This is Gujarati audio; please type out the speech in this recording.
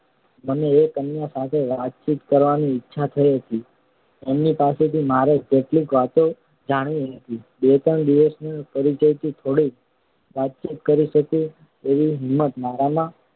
મને એ કન્યા સાથે વાતચીત કરવાની ઈચ્છા થઈ હતી એમની પાસેથી મારે કેટલીક વાતો જાણવી હતી બે ત્રણ દિવસના પરિચયથી થોડીક વાતચીત કરી શકું એવી હિંમત મારામાં